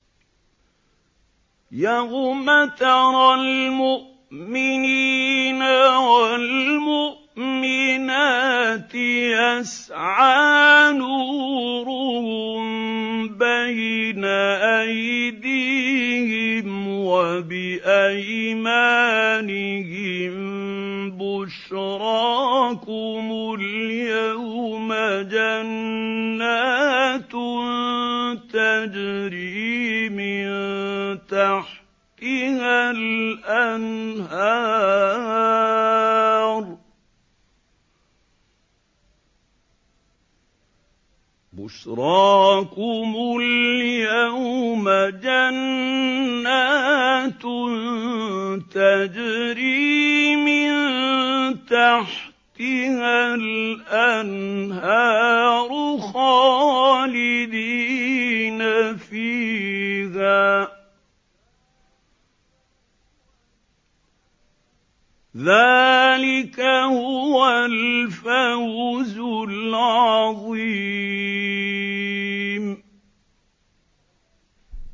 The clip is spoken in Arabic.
يَوْمَ تَرَى الْمُؤْمِنِينَ وَالْمُؤْمِنَاتِ يَسْعَىٰ نُورُهُم بَيْنَ أَيْدِيهِمْ وَبِأَيْمَانِهِم بُشْرَاكُمُ الْيَوْمَ جَنَّاتٌ تَجْرِي مِن تَحْتِهَا الْأَنْهَارُ خَالِدِينَ فِيهَا ۚ ذَٰلِكَ هُوَ الْفَوْزُ الْعَظِيمُ